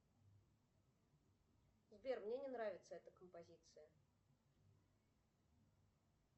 сбер мне не нравится эта композиция